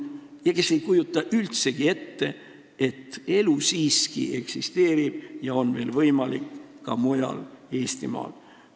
Ja see keegi ei kujuta üldse ette, et elu siiski eksisteerib ja on veel võimalik ka mujal Eestimaal.